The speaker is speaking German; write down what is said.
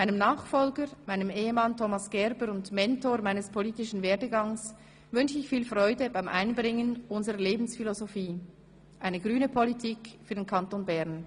Meinem Nachfolger, meinem Ehemann Thomas Gerber und Mentor meines politischen Werdeganges, wünsche ich viel Freude beim Einbringen unserer Lebensphilosophie – eine grüne Politik für den Kanton Bern.